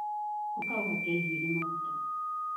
Ũka uhake njuĩrĩ maguta